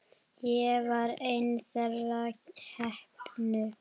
Ég var ein þeirra heppnu.